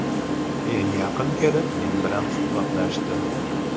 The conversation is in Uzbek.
Keyin yaqin kelib, men bilan suhbatlashdi.